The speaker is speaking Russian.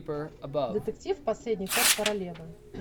детектив последний ход королевы